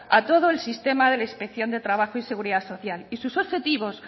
a todos el sistema de la inspección de trabajo y seguridad social y sus objetivos